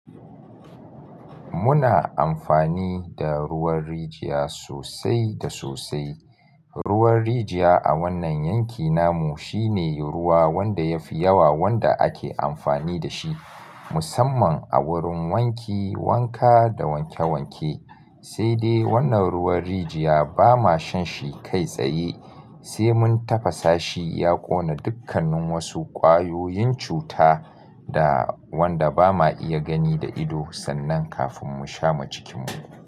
Muna amfani da ruwan rijiya sosai da sosai. Ruwan rijiya a wannan yankin namu shine ruwa wanda yafi yawa wanda ake amfani da shi musamman a wurin wanki, wanka da wanke wanke. Sai dai wannan ruwan rijiya ba mashanshi kai tsaye, sai mun tafasa shi ya ƙona dukkanin wasu ƙwayoyin cuta da wanda ba ma iya gani da ido sannan kafin mu sha ma jikinmu.